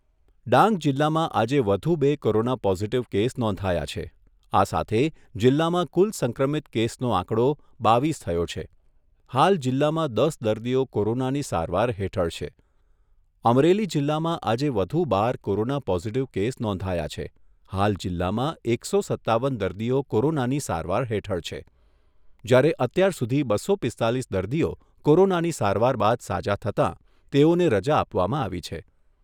ડાંગ જિલ્લામાં આજે વધુ બે કોરોના પોઝીટીવ કેસ નોંધાયા છે, આ સાથે જિલ્લામાં કુલ સંક્રમિત કેસનો આંકડા બાવીસ થયો છે, હાલ જિલ્લામાં દસ દર્દીઓ કોરોનાની સારવાર હેઠળ છે, અમરેલી જિલ્લામાં આજે વધુ બાર કોરોના પોઝીટીવ કેસ નોંધાયા છે, હાલ જિલ્લામાં એકસો સત્તાવન દર્દીઓ કોરોનાની સારવાર હેઠળ છે, જ્યારે અત્યાર સુધી બસો પીસ્તાલીસ દર્દીઓ કોરોનાની સારવાર બાદ સાજા થતાં તેઓને રજા આપવમાં આવી છે.